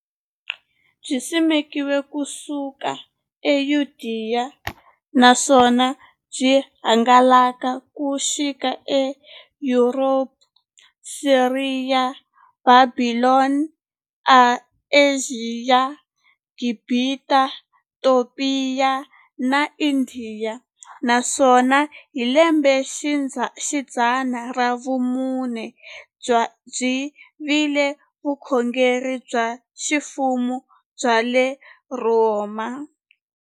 Byisimekiwe ku suka eYudeya, naswona byi hangalake ku xika eYuropa, Siriya, Bhabhilona, Ashiya, Gibhita, Topiya na Indiya, naswona hi lembexidzana ra vumune byi vile vukhongeri bya ximfumo bya le Rhoma.